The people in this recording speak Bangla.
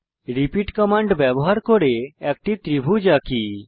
রিপিট কমান্ড ব্যবহার করে একটি ত্রিভুজ আঁকি